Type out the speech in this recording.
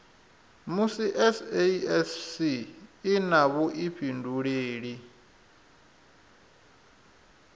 musi sasc i na vhuifhinduleli